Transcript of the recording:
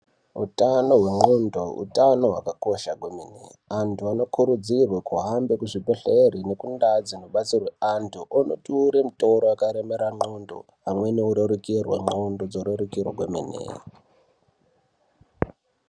Utano ndxondo utano hwakakosha kwemene. Antu anokurudzirwa kuhambe kuzvibhedhleya azobatsirwa antu kutura mutoro yakaremera ndxondo amweni orerukirwe ndxondo dzorerukirwe kwemene.